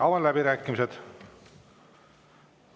Avan läbirääkimised.